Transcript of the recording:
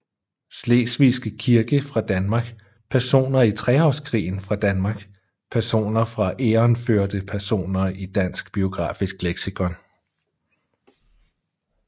Slesvigske Krig fra Danmark Personer i Treårskrigen fra Danmark Personer fra Egernførde Personer i Dansk Biografisk Leksikon